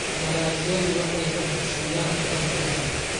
Dalagyadu waxay dadka siiyaan cunto ku filan.